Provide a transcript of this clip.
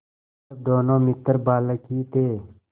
जब दोनों मित्र बालक ही थे